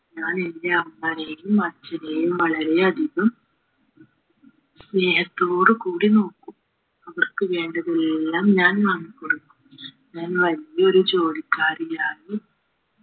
ഞാൻ എന്റെ അമ്മയെയും അച്ഛനെയും വളരെയധികം സ്നേഹത്തോടു കൂടി നോക്കും അവർക്ക് വേണ്ടതെല്ലാം ഞാൻ വാങ്ങിക്കൊടുക്കും ഞാൻ വല്ല്യൊരു ജോലിക്കാരനായി